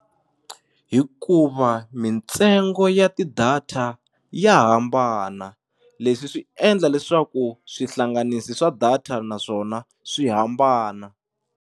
Hikuva mintsengo ya ti-data ya hambana leswi swi endla leswaku swihlanganisi swa data naswona swi hambana.